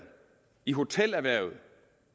i hotelerhvervet og